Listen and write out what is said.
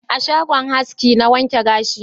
A shagon haski na wanke gashi na